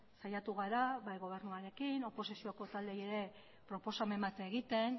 saiatu gara bai gobernuarekin oposizioko taldeei ere proposamen bat egiten